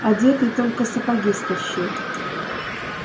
одетый только сапоги стащил